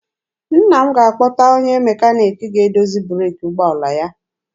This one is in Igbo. Nna m ga-akpọta onye mekaniki ga-edozi breeki ụgbọala ya.